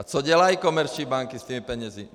A co dělají komerční banky s těmi penězi?